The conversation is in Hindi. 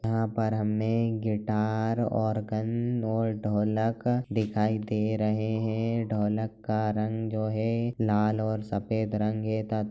यहाँ पर हमने गिटार ऑर्गन और ढोलक दिखाई दे रहे है ढोलक का रंग जो है लाल और सफेद रंग है तथा --